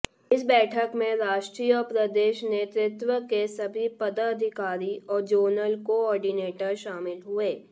इस बैठक में राष्ट्रीय और प्रदेश नेतृत्व के सभी पदाधिकारी और जोनल कोऑर्डिनेटर शामिल हुए